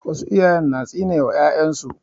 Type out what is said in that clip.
Wasu iyaye na tsine ma 'ya'yan su.